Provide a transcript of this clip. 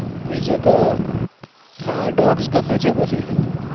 બીજ તો હા dogs ગમે છે પછી